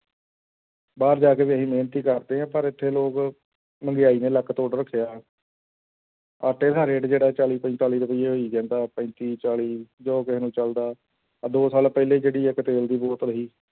ਬਾਹਰ ਜਾ ਕੇ ਵੀ ਇਹੀ ਮਿਹਨਤ ਹੀ ਕਰਦੇ ਆ ਪਰ ਇੱਥੇ ਲੋਕ ਮਹਿੰਗਾਈ ਨੇ ਲੱਕ ਤੋੜ ਰੱਖਿਆ ਆਟੇ ਦਾ rate ਜਿਹੜਾ ਚਾਲੀ ਪੰਤਾਲੀ ਰੁਪਈਏ ਹੋਈ ਜਾਂਦਾ ਪੈਂਤੀ ਚਾਲੀ ਜੋ ਕਿਸੇ ਨੂੰ ਚੱਲਦਾ, ਆਹ ਦੋ ਸਾਲ ਪਹਿਲਾਂ ਜਿਹੜੀ ਇੱਕ ਤੇਲ ਦੀ ਬੋਤਲ ਸੀ l